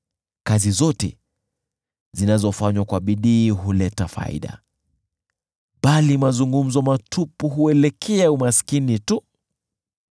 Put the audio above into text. Kazi zote zinazofanywa kwa bidii huleta faida, bali mazungumzo matupu huelekea umaskini tu.